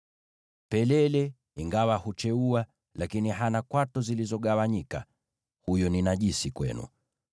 Pelele ingawa hucheua hana kwato zilizogawanyika; huyo ni najisi kwenu.